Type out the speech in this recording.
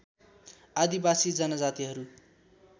आदिवासी जनजातिहरू